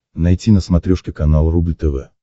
найти на смотрешке канал рубль тв